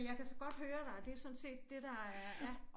Men jeg kan så godt høre dig og det jo sådan set det der er ja